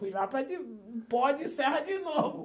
Fui lá para de pó de serra de novo.